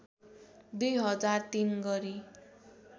२ हजार ३ गरी